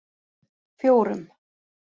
fjórum